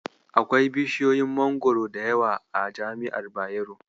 Akwai bishiyoyin Mangwaro da yawa a jami'ar Bayero.